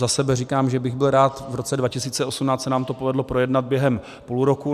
Za sebe říkám, že bych byl rád, v roce 2018 se nám to povedlo projednat během půl roku.